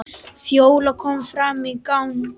Fjóla kom fram í gang.